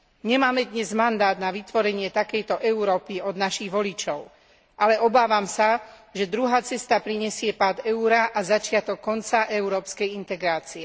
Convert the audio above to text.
Nemáme dnes mandát na vytvorenie takejto Európy od našich voličov, ale obávam sa, že druhá cesta prinesie pád eura a začiatok konca európskej integrácie.